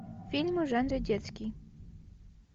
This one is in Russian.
фильмы в жанре детский